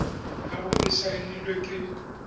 ya bo e saenilwe ke